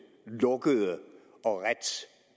lukkede og ret